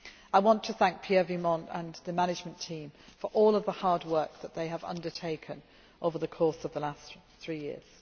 me. I would like to thank Pierre Vimont and the management team for all of the hard work that they have undertaken over the course of the last three